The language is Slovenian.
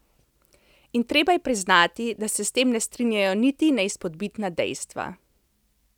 In treba je priznati, da se s tem ne strinjajo niti neizpodbitna dejstva.